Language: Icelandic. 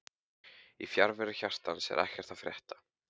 Í fjarveru hjartans er ekkert að frétta